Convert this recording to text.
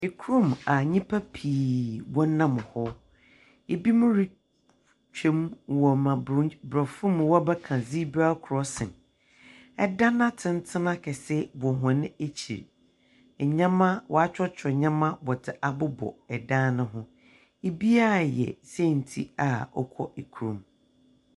Kurom a nyimpa pii wɔnam hɔ. Binom retwan wɔ ma buro borɔfo mu wɔbɛka zebra crossing. Dan atsentsen akɛse wɔ hɔn ekyir. Ndzɛmba wɔakyerɛkyerɛ ndɛmba wɔdze abobɔ dan no ho. Biara reyɛ senti a ɔkɔ kurom.